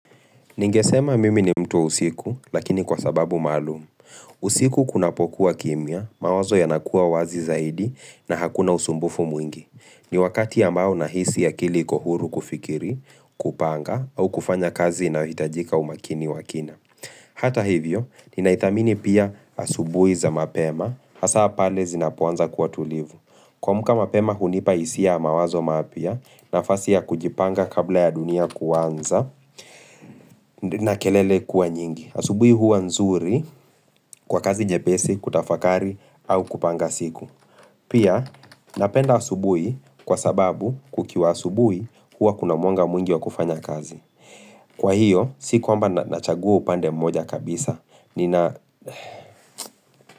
Ningesema mimi ni mtu wa usiku, lakini kwa sababu maalum usiku kunapokua kimya mawazo yanakuwa wazi zaidi na hakuna usumbufu mwingi. Ni wakati ambao nahisi akiili iko huru kufikiri, kupanga au kufanya kazi inayo hitaji umakini wakina. Hata hivyo, ninaidhamini pia asubui za mapema hasa pale zinapo anza kuwa tulivu kuamka mapema hunipa hisia ya mawazo mapya nafasi ya kujipanga kabla ya dunia kuanza na kelele kuwa nyingi Asubui huwa nzuri kwa kazi nyepesi, kutafakari, au kupanga siku Pia, napenda asubui kwa sababu kukiwa asubui Huwa kuna mwanga mwingi wa kufanya kazi Kwa hiyo, si kwamba nachagua upande mmoja kabisa Nina.